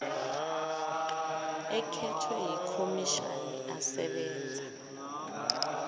ekhethwe yikhomishani asebenza